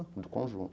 Do conjunto.